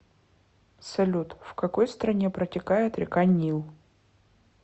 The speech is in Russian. салют в какой стране протекает река нил